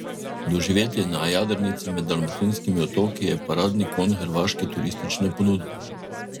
Doživetje na jadrnici med dalmatinskimi otoki je paradni konj hrvaške turistične ponudbe.